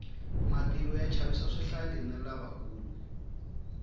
matilo ya chavisa swihlangi na lavakulu